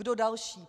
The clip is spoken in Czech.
Kdo další?